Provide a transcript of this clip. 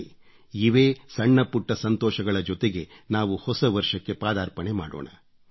ಬನ್ನಿ ಇವೇ ಸಣ್ಣ ಪುಟ್ಟ ಸಂತೋಷಗಳ ಜೊತೆಗೆ ನಾವು ಹೊಸ ವರ್ಷಕ್ಕೆ ಪಾದಾರ್ಪಣೆ ಮಾಡೋಣ